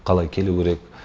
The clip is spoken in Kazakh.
қалай келу керек